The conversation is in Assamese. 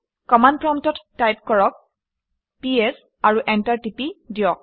কমাণ্ড প্ৰম্পটত টাইপ কৰক পিএছ আৰু এণ্টাৰ টিপি দিয়ক